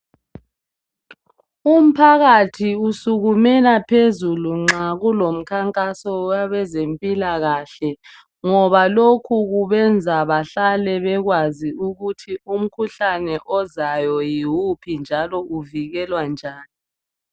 Umphakathi usukumela phezulu nxa kulomkhankaso wabezempilakahle ngoba lokhu kubenza bahlale bekwazi ukuthi umkhuhlane ozayo yiwuphi njalo uvikelwa njani.